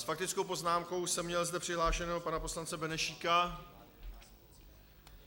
S faktickou poznámkou jsem měl zde přihlášeného pana poslance Benešíka.